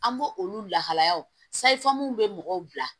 An b'o olu lahalayaw sayifamuw bɛ mɔgɔw bila